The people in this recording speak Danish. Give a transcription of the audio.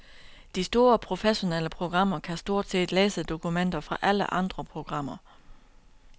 De store professionelle programmer kan stort set læse dokumenter fra alle andre programmer.